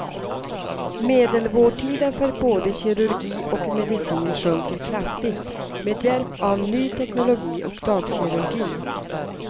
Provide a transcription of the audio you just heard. Medelvårdtiden för både kirurgi och medicin sjunker kraftigt, med hjälp av ny teknologi och dagkirurgi.